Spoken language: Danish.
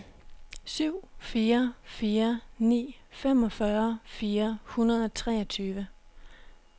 syv fire fire ni femogfyrre fire hundrede og treogtyve